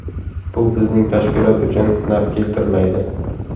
Bu bizning tashkilot uchun naf keltirmaydi.